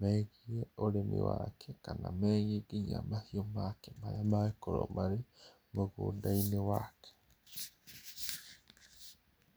megie ũrĩmi wake kana megie nginya mahiũ make maria mangĩkorwo marĩ mũgũnda-inĩ wake.